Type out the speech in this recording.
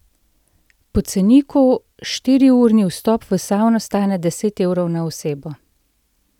Po ceniku štiriurni vstop v savno stane deset evrov na osebo.